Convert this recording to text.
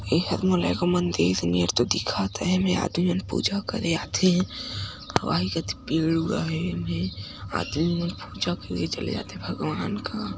इहा दे मोला एगो मंदिर नियन तो देखत हे एहे में आदमी मन पूजा करे आथे आउ आई जाथे पेड़ उगावे में आदमी मन पूजा करे चले जाथे भगवान का --